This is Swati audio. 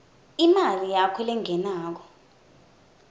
imali yakho lengenako